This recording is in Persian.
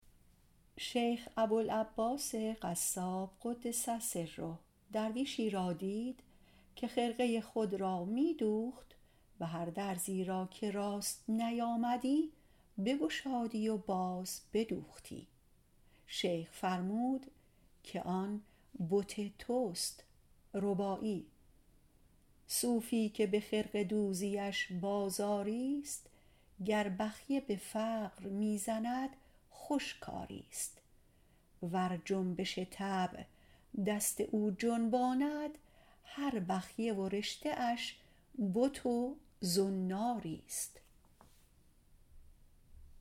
شیخ ابوالعباس قصاب - قدس سره - درویشی را دید که جامه خود را می دوخت هر درزی را که راست نیامدی بگشادی و باز بدوختی شیخ فرمود آن بت توست صوفی که به خرقه دوزیش بازاریست گر بخیه فقر می زند خوش کاریست ور جنبش طبع دست او جنباند هر بخیه و رشته اش بت و زناریست